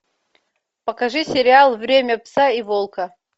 покажи сериал время пса и волка